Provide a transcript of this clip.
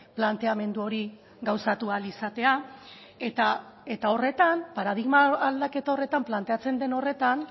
planteamendu hori gauzatu ahal izatea eta horretan paradigma aldaketa horretan planteatzen den horretan